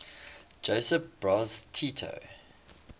josip broz tito